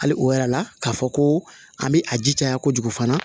Hali o yɛrɛ la k'a fɔ ko an bɛ a ji caya kojugu fana